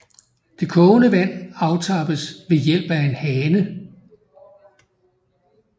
Det kogende vand aftappes ved hjælp af en hane